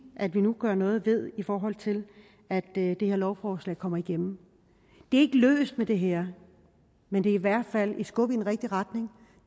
at vi nu kan gøre noget ved i forhold til at det her lovforslag kommer igennem det er ikke løst med det her men det er i hvert fald et skub i den rigtige retning